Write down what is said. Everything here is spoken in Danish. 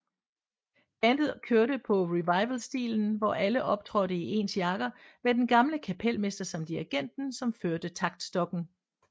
Bandet kørte på revivalstilen hvor alle optrådte i ens jakker med den gamle kapelmester som dirrigenten som førte taktstokken